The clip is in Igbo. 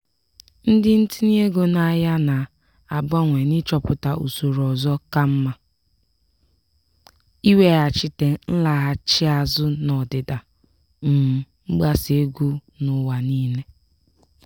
ndị ntinye ego n'ahịa na-abawanye n'ịchọpụta usoro ọzọ ka mma iweghachite nlaghachi azụ n'ọdịda um mgbasa ego n'ụwa niile.